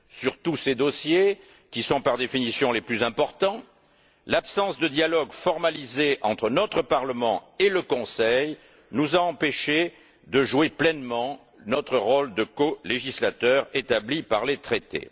Sur tous ces dossiers, qui sont, par définition, les plus importants, l'absence de dialogue formalisé entre notre Parlement et le Conseil nous a empêchés de jouer pleinement notre rôle de colégislateur établi par les traités.